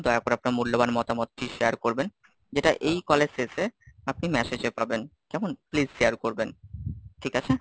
দয়া করে আপনার মূল্যবান মতামতটি share করবেন যেটা এই call এর শেষে আপনি message এ পাবেন, কেমন, please share করবেন, ঠিক আছে?